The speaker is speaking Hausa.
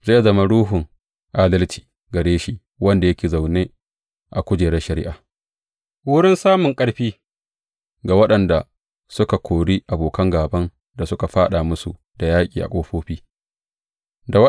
Zai zama ruhun adalci gare shi wanda yake zaune a kujerar shari’a, wurin samun ƙarfi ga waɗanda suka kori abokan gāban da suka fāɗa musu da yaƙi a ƙofofi.